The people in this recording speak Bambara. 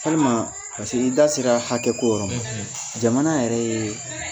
Walima paseke i da sera hakɛ ko yɔrɔ ma, , jamana yɛrɛ ye